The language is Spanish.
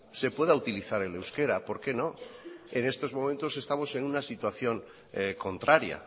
se pueda utilizar el euskera por qué no en estos momentos estamos en una situación contraria